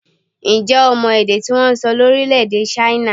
Ǹjẹ́ o mọ èdè tí wọ́n ń sọ ní orílẹ̀-èdè China?